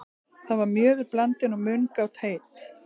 Þar var mjöður blandinn og mungát heitt.